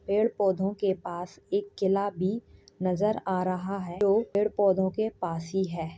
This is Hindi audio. पेड़ पौधों के पास एक किला भी नजर आ रहा है जो पेड़ पौधों के पास ही है।